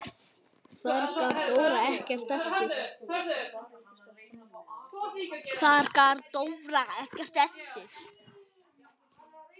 Þar gaf Dóra ekkert eftir.